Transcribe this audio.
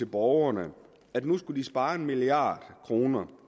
borgerne at nu skulle de spare en milliard kroner